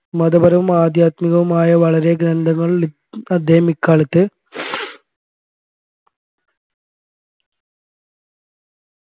മതപരവും അദ്ധ്യാത്മികവുമായി വളരെ ഗ്രന്ഥങ്ങള് അദ്ദേഹം ഇക്കാലത്ത്